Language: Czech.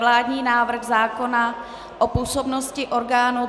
Vládní návrh zákona o působnosti orgánů